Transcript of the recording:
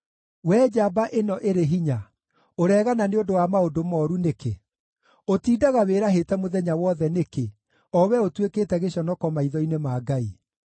Wee njamba ĩno ĩrĩ hinya, ũreegana nĩ ũndũ wa maũndũ mooru nĩkĩ? Ũtindaga wĩrahĩte mũthenya wothe nĩkĩ, o wee ũtuĩkĩte gĩconoko maitho-nĩ ma Ngai?